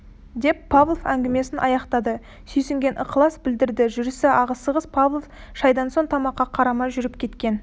деп павлов әңгімесін аяқтады сүйсінген ықылас білдірді жүрісі асығыс павлов шайдан соң тамаққа қарамай жүріп кеткен